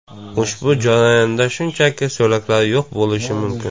Ushbu jarayonda shunchaki so‘laklar yo‘q bo‘lishi mumkin.